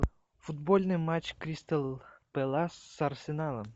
футбольный матч кристал пэлас с арсеналом